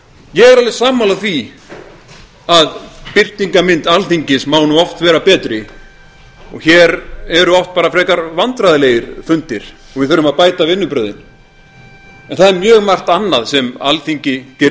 ég er alveg sammála því að birtingarmynd alþingis má oft vera betri og hér eru oft bara frekar vandræðalegir fundir og við þurfum að bæta vinnubrögðin en það er mjög margt annað sem alþingi gerir